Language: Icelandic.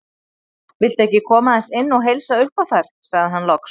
Viltu ekki koma aðeins inn og heilsa upp á þær sagði hann loks.